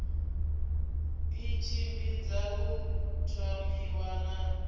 i tshimbidza u thomiwa na